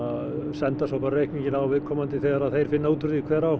senda svo reikning á viðkomandi þegar þeir finna út úr því hver á